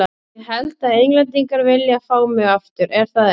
Ég held að Englendingar vilji fá mig aftur, er það ekki?